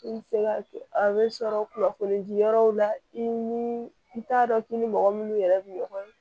I bɛ se ka a bɛ sɔrɔ kunnafoni di yɔrɔw la i ni i t'a dɔn k'i ni mɔgɔ minnu yɛrɛ bɛ ɲɔgɔn ye